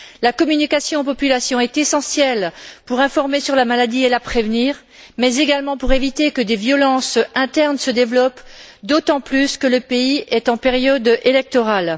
La communication aux populations est essentielle pour informer sur la maladie et la prévenir, mais également pour éviter que des violences internes se développent, d'autant plus que le pays est en période électorale.